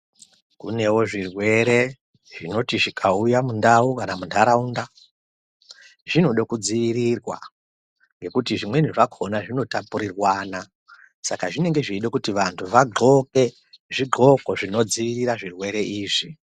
Kunewo zvirwere zvinoti zvikauya mundau kana munharaunda zvinode kudziirirwa ngekuti zvimweni zvakona zvinotapurirwana saka zvinenge zveida kuti vantu vadhloke zvidhloko zvinodziirira zvirwere izvi.